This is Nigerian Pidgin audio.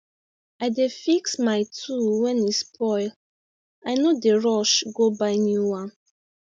i dey fix my tool when e spoil i no dey rush go buy new one